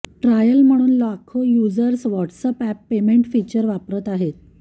trial म्हणून लाखो users WhatsApp payment feature वापरत आहेत